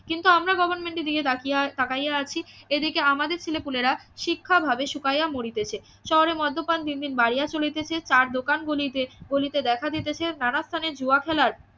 কিন্তু আমরা গভর্নমেন্টের দিকে তাকিয়া তাকাইয়া থাকিয়া আছি এদিকে আমাদের ছেলেপুলেরা শিক্ষাভাবে শুকাইয়া মরিতেছে শহরে মদ্যপান দিন দিন বাড়িয়া চলিতেছে তার দোকানগুলি যে গলিতে দেখা দিতেছে নানা স্থানে জুয়া খেলার